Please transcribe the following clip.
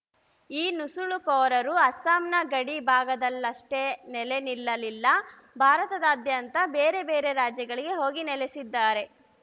ಈ ನುಸುಳುಕೋರರು ಅಸ್ಸಾಂನ ಗಡಿ ಭಾಗದಲ್ಲಷ್ಟೇ ನೆಲೆ ನಿಲ್ಲಲಿಲ್ಲ ಭಾರತದಾದ್ಯಂತ ಬೇರೆ ಬೇರೆ ರಾಜ್ಯಗಳಿಗೆ ಹೋಗಿ ನೆಲೆಸಿದ್ದಾರೆ